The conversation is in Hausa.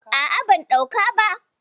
A'a, ban ɗauka ba.